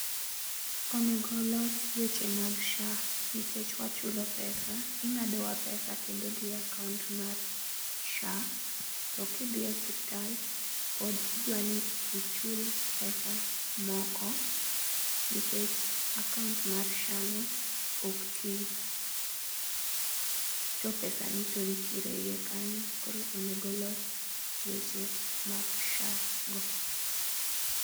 Onego olos weche mag sha, nikech wa chulo pesa, ing'ado wa pesa kendo dhi e account mar sha.to ki idhi e osiptal pod idwaro ni ichul pesa moko nikech akaunt mar sha no ok ti. to pesa ni to nitiere e iye kanyo. Koro onego olos weche mag sha go.